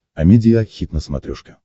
амедиа хит на смотрешке